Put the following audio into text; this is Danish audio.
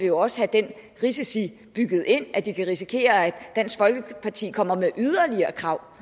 jo også have den risiko bygget ind at de kan risikere at dansk folkeparti kommer med yderligere krav